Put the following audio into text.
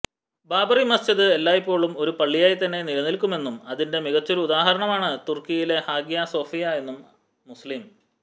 ബാബറി മസ്ജിദ് എല്ലായ്പ്പോഴും ഒരു പള്ളിയായി തന്നെ നിലനില്ക്കുമെന്നും അതിന്റെ മികച്ചൊരു ഉദാഹരണമാണ് തുര്ക്കിയിലെ ഹാഗിയ സോഫിയ എന്നും മുസ്ലിം